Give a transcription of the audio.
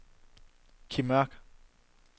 Kim Mørch